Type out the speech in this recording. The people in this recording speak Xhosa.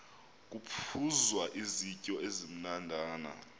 kuphuzwa izityo ezimnandana